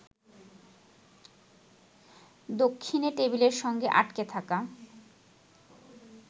দক্ষিণে টেবিলের সঙ্গে আটকে থাকা